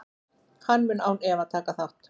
Hann mun án efa taka þátt.